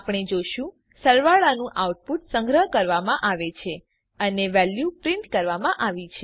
આપણે જોશું સરવાળાનું આઉટપુટ સંગ્રહ કરવામાં આવે છે અને વેલ્યુ પ્રિન્ટ કરવામાં આવી છે